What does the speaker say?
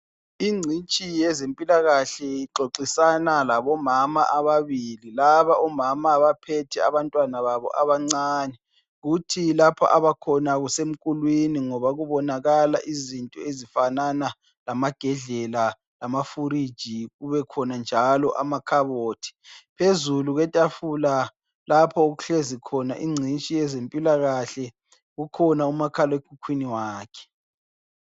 Ingcitshi yezempilakahle ixoxisana labomana ababili , laba omama bathethe abantwana babo abancane, kuthi lapho abakhona kusemkulwini ngoba kubonakala izinto ezifanana lamagedlela lamafuriji kubekhonanjalo lamakhabothi. Phezu kwetafula lapho okuhlezikhona ingcitshi yezempilakahle kukhona umakhalekhukhwini wakhe.